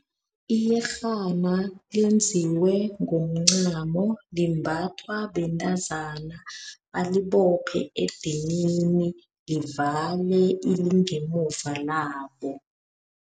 Iyerhana lenziwe ngomncamo. Limbathwa bentazana balibophe edinini livale ilingemuva labo.